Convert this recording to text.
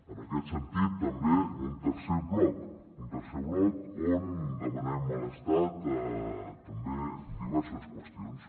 en aquest sentit també un tercer bloc un tercer bloc on demanem a l’estat tam·bé diverses qüestions